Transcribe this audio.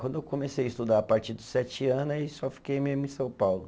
Quando eu comecei a estudar, a partir dos sete ano, aí só fiquei mesmo em São Paulo.